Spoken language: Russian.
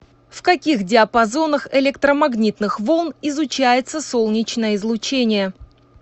в каких диапазонах электромагнитных волн изучается солнечное излучение